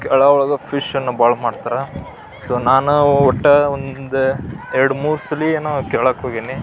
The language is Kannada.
ಕೇರಳದವರು ಫಿಶ್ ನ್ನು ಭಾಳ ಮಾಡ್ತಾರ ಸೊ ನಾನು ಒಟ್ಟು ಒಂದು ಎರಡು ಮೂರು ಸಲಿ ಏನೋ ಕೇರಳಕ್ಕೆ ಹೋಗೀನಿ.